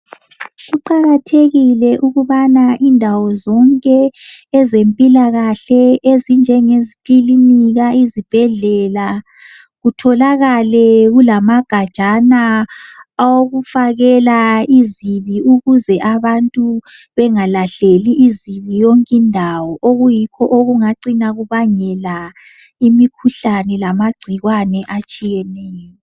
Kuqakathekile ukubana indawo zonke ezempilakahle ezinjenge zikilinika izibhedlela kutholakale kulamagajana awokufakela izibi ukuze abantu bengalahleli izibi yonkindawo okuyikho okungacina kubangela imikhuhlane lamagcikwane atshiyeneyo.